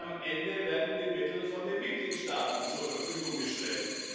Am Ende werden die Mittel von den Mitgliedstaaten zur Verfügung gestellt.